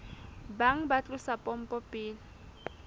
bang ba tlosa pompo pele